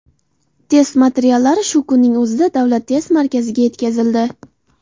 Test materiallari shu kunning o‘zida Davlat test markaziga yetkazildi”.